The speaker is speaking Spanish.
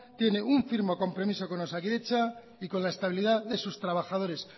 tiene un firme compromiso con osakidetza y con la estabilidad de sus trabajadores